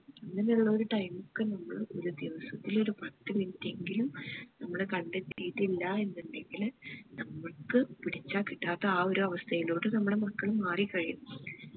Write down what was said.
ഇങ്ങനെ ഉള്ളൊരു time ഒക്കെ നമ്മള് ഒരു ദിവസ്സത്തില് ഒരു പത്ത് minute എങ്കിലും നമ്മള് കണ്ടെത്തിയിട്ടില്ല എന്ന് ഇണ്ടെങ്കില് നമ്മക്ക് പിടിച്ച കിട്ടാതെ ആ ഒരാവസ്ഥയിലോട്ട് നമ്മളെ മക്കൾ മാറിക്കഴിയും